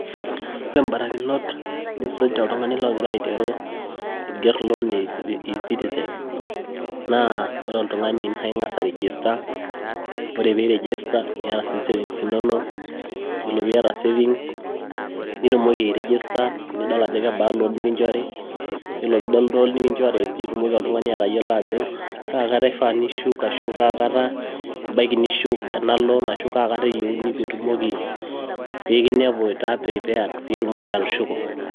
ore ibarakinot nisuj oltungani igira aing'oru loan e ecitizen naa ing'as ai register ,ore pee i register ,niyata sii savings inono, ore pee iyata savinges nitumoki airegister, nidol loan nikinchori, iyiolo pee idol loan nikinchori, nitumoki oltung'ani atayiolo ajo, kaa kata ifaa nishuk, ashu kaa kata ebaiki nishuk, ena loan ,ashu kaakat itumoki atushuko.